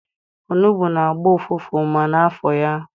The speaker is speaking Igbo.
Onugbu na-agbọ ụfụfụ ma ana afọ ya.